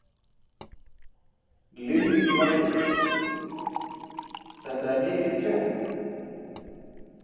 Lillý Valgerður: Þetta er mikið tjón?